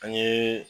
An ye